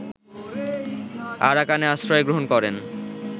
আরাকানে আশ্রয় গ্রহণ করেন